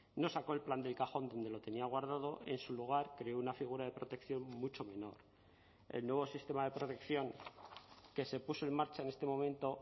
no sacó el plan del cajón donde lo tenía guardado en su lugar creó una figura de protección mucho menor el nuevo sistema de protección que se puso en marcha en este momento